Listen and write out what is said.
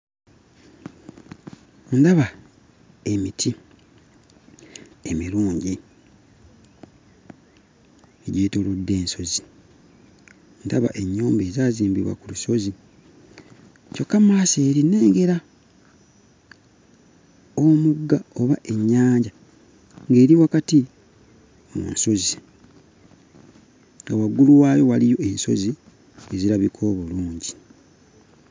Ndaba emiti emirungi egyetoolodde ensozi, ndaba ennyumba ezaazimbibwa ku lusozi kyokka mmaaso eri nnengera omugga oba ennyanja ng'eri wakati mu nsozi, nga waggulu waayo waliyo ensozi ezirabika obulungi.